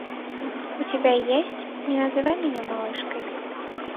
у тебя есть не называй меня малышкой